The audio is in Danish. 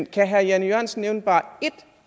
kan herre jan e jørgensen nævne bare ét